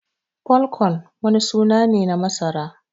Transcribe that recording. "Pole corn" wani suna ne na masara.